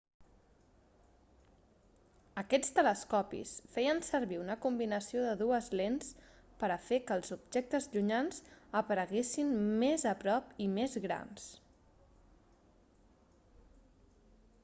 aquests telescopis feien servir una combinació de dues lents per a fer que els objectes llunyans apareguessin més a prop i més grans